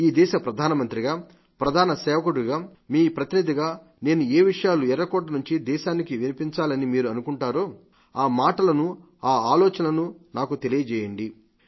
ఈ దేశ ప్రధానమంత్రిగా ప్రధాన సేవకుడిగా మీ ప్రతినిధిగా నేను ఏ విషయాలు ఎర్రకోట నుండి దేశానికి వినిపించాలి అని మీరు అనుకుంటారో ఆ మాటలను ఆ ఆలోచనలను నాకు తెలియజేయండి